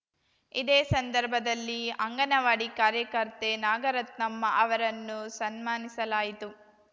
ಇದೇ ಸಂದರ್ಭದಲ್ಲಿ ಅಂಗನವಾಡಿ ಕಾರ್ಯಕರ್ತೆ ನಾಗರತ್ನಮ್ಮ ಅವರನ್ನು ಸನ್ಮಾನಿಸಲಾಯಿತು